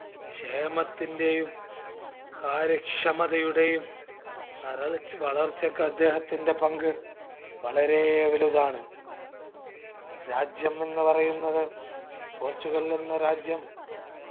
ക്ഷേമത്തിന്റെയും കാര്യക്ഷമതയുടെയും വരൾച്ച വളർച്ചക്ക് അദ്ദേഹത്തിന്റെ പങ്ക് വളരെ വലുതാണ്. രാജ്യം എന്ന് പറയുന്നത് പോർച്ചുഗൽ എന്ന രാജ്യം